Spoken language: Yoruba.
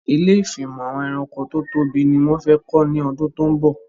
Ilé ìfimọ̀ àwọn ẹranko tó tóbi ni wón fẹ kọ́ ní ọdún tó ń bọ̀